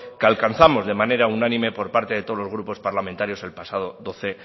que alcanzamos de manera unánime por parte de todos los grupos parlamentarios el pasado doce